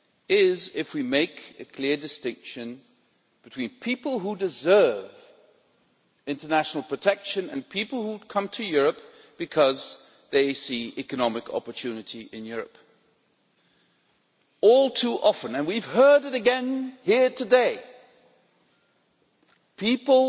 is if we make a clear distinction between people who deserve international protection and people who come to Europe because they see economic opportunity in Europe. All too often and we have heard it again here today people